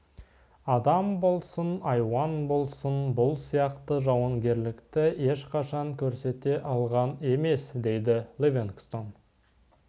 адам болсын айуан болсын бұл сияқты жауынгерлікті ешқашан көрсете алған емес дейді ливингстон